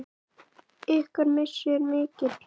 Ykkar missir er mikill.